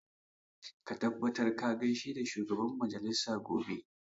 Ka tabbata ka gaishe da shugaban majalisa gobe!